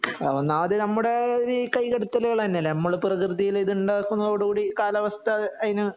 ഒന്നാമത് നമ്മുടെ ഈ കൈകടത്തലുകള് തന്നെ അല്ലേ നമ്മള് പ്രകൃതിയില് ഇത് ഉണ്ടാക്കുന്ന കൂടി കാലാവസ്ഥ അതിന്